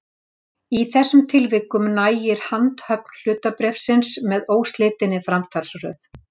Í þessum tilvikum nægir handhöfn hlutabréfsins með óslitinni framsalsröð.